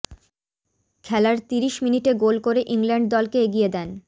খেলার তিরিশ মিনিটে গোল করে ইংল্যান্ড দলকে এগিয়ে দেন